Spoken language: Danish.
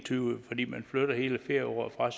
tyve fordi man flytter hele ferieåret fra